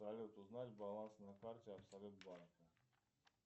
салют узнать баланс на карте абсолют банка